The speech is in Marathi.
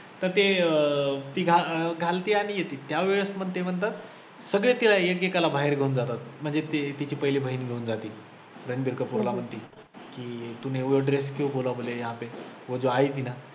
तर ते अं ती घा अं घालते आणि येते, त्यावेळेस मग ते म्हणतात सगळे ऐक ऐकाला बाहेर घेऊन जातात म्हणजे ते तिची पहिले बहीण घेऊन जाते, रणबीर कपूर ला म्हणते की तूने वो dress क्यो बोला बोले यहा पे वो जो आई थी ना